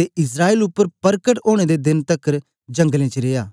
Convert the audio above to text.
ते इस्राएल उपर परकट ओनें दे देन तकर जंगलें च रिया